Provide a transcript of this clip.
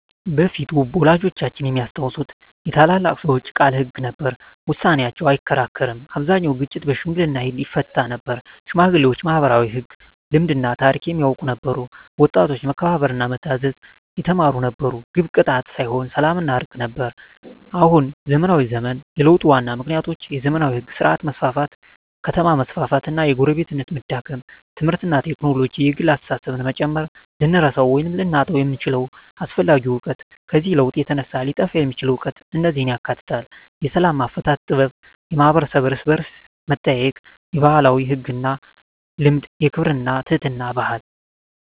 በፊት (ወላጆቻችን የሚያስታውሱት) የታላላቅ ሰዎች ቃል ሕግ ነበር፤ ውሳኔያቸው አይከራከርም አብዛኛውን ግጭት በሽምግልና ይፈታ ነበር ሽማግሌዎች ማኅበራዊ ሕግ፣ ልማድና ታሪክ የሚያውቁ ነበሩ ወጣቶች መከበርና መታዘዝ የተማሩ ነበሩ ግብ ቅጣት ሳይሆን ሰላምና እርቅ ነበር አሁን (ዘመናዊ ዘመን) የለውጡ ዋና ምክንያቶች የዘመናዊ ሕግ ሥርዓት መስፋፋት ከተማ መስፋፋት እና የጎረቤትነት መዳከም ትምህርትና ቴክኖሎጂ የግል አስተሳሰብን መጨመር ልንረሳው ወይም ልናጣው የምንችለው አስፈላጊ እውቀት ከዚህ ለውጥ የተነሳ ሊጠፋ የሚችል እውቀት እነዚህን ያካትታል፦ የሰላም አፈታት ጥበብ የማኅበረሰብ እርስ–በርስ መጠያየቅ የባህላዊ ሕግና ልማድ የክብርና የትሕትና ባህል